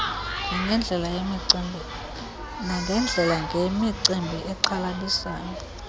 nangeendlela ngemicimbi exhalabisayo